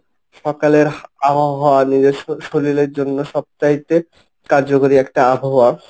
সকালের আবহাওয়া নিজস্ব শরীরের জন্য সব চাইতে কার্যকরী একটা আবহাওয়া।